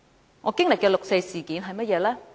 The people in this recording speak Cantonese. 那我經歷的六四事件是怎樣的呢？